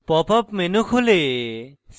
pop up menu খুলে